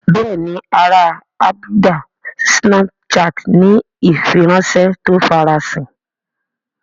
Bẹ́ẹ̀ni ara àbùdá snapchat ni ìfiránṣẹ́ tó ń farasin